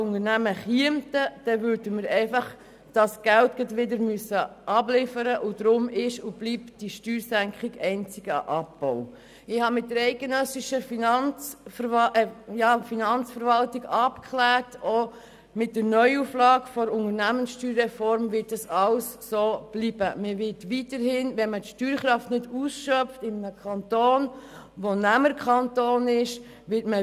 Wenn wir das Gefühl haben, uns mit dieser Steuersenkung attraktiv zu machen und sich allenfalls Unternehmen deshalb tatsächlich im Kanton Bern ansiedeln würden, dann müssten wir die betreffenden Steuereinnahmen